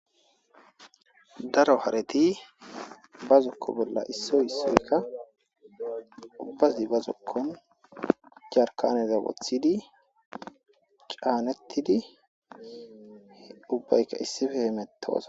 daro hareti ba zokko bolla issoy issoykka ubbazi bazokkon jarkaneza gothidi qaanettidi ubbayka issife hemetoosa